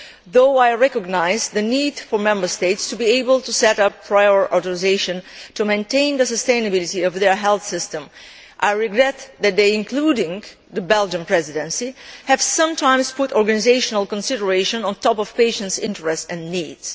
Though I recognise the need for Member States to be able to set up prior authorisation to maintain the sustainability of their health systems, I regret that they including the Belgian Presidency have sometimes put organisational considerations above patients' interests and needs.